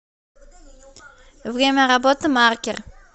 время работы маркер